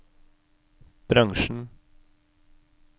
bransjen